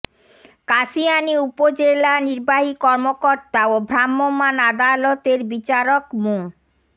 কাশিয়ানী উপজেলা নির্বাহী কর্মকর্তা ও ভ্রাম্যমাণ আদালতের বিচারক মো